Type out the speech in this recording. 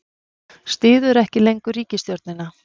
Styður ekki lengur ríkisstjórnina